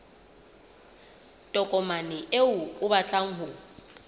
tokomane eo o batlang ho